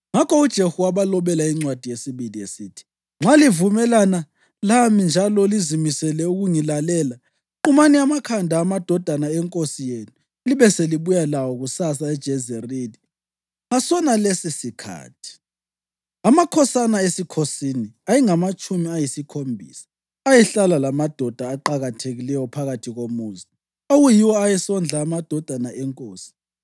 Ngakho uJehu wabalobela incwadi yesibili esithi, “Nxa livumelana lami njalo lizimisele ukungilalela, qumani amakhanda amadodana enkosi yenu libe selibuya lawo kusasa eJezerili ngasonalesisikhathi.” Amakhosana esikhosini, ayengamatshumi ayisikhombisa, ayehlala lamadoda aqakathekileyo phakathi komuzi, okuyiwo ayesondla amadodana enkosi.